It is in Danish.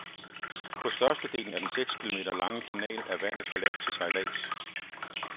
På størstedelen af den seks kilometer lange kanal er vandet for lavt til sejlads.